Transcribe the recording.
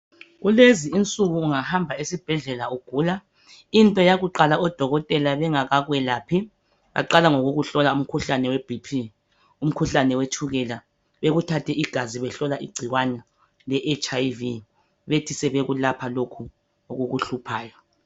Kulezinsuku ungahamba esibhedlela ugula , into yakuqala odokotela bengakakaphi , baqala ngokukuhlola umkhuhlane we BP , umkhuhlane wetshukela, bekuthathe igazi behlola igcikwane le HIV bethi sevekulapha lokhu okukuhluphayo.